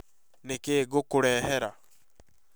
Nĩ kĩĩ ngũkũrehera?